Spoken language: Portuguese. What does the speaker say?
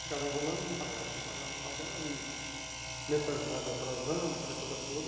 Ficava enrolando e não pagava, não pagava, não pagava e mensalidade atrasando, aquela coisa toda.